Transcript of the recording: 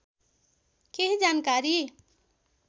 केही जानकारी